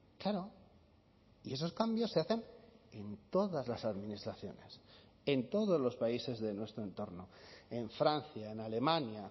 claro y esos cambios se hacen en todas las administraciones en todos los países de nuestro entorno en francia en alemania